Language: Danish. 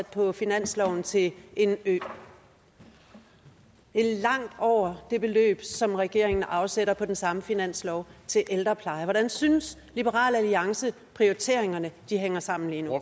på finansloven til en ø det er langt over det beløb som regeringen afsætter på den samme finanslov til ældrepleje hvordan synes liberal alliance at prioriteringerne hænger sammen lige nu